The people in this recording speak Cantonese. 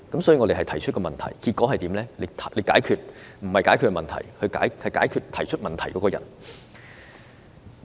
所以，我們提出問題，但政府不是解決問題，而是解決提出問題的人。